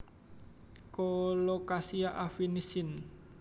Colocasia affinis syn